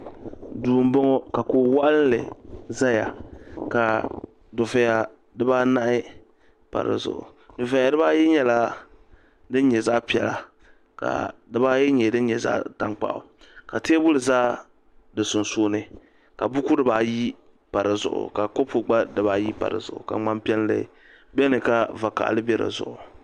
duu n bɔŋɔ ka kuɣu waɣanli ʒɛya ka dufɛya dibanahi pa dizuɣu dufɛya dibayi nyɛla din nyɛ zaɣ piɛla ka dibayi nyɛ din nyɛ zaɣ tankpaɣu ka teebuli ʒɛ di sunsuuni ka buku dibayi pa dizuɣu ka kɔpu dibayi gba tam dizuɣu ka ŋmani piɛlli biɛni ka vakaɣali bɛ dizuɣu